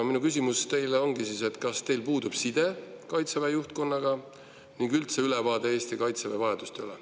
Minu küsimus teile ongi: kas teil siis puudub side Kaitseväe juhtkonnaga ning üldse ülevaade Eesti kaitsejõudude vajadustest?